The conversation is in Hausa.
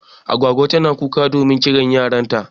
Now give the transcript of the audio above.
Agwagwa tana kuka domin kiran yaran ta.